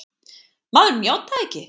Maðurinn játaði ekki!